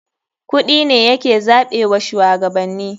Kuɗi ne ya ke zaɓe wa shuwagabanni.